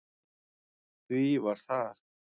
Því var það